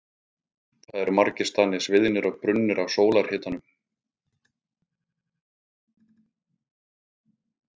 Þar eru margir staðir sviðnir og brunnir af sólarhitanum.